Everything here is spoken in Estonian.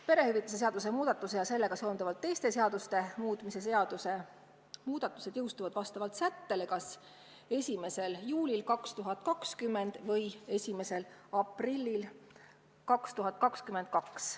Perehüvitiste seaduse muutmise ja sellega seonduvalt teiste seaduste muutmise seaduse muudatused on plaanitud jõustuma vastavalt sättele kas 1. juulil 2020 või 1. aprillil 2022.